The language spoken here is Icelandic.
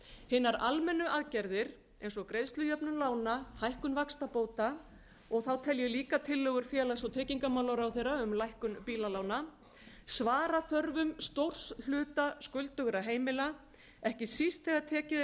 hinar almennu aðgerðir ein dag greiðslujöfnun lána hækkun vaxtabóta og þá tel ég líka tillögur félags og tryggingamálaráðherra um lækkun bílalána svara þörfum stórs hluta skuldugra heimila ekki síst þegar tekið